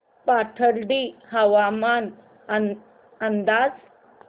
पाथर्डी हवामान अंदाज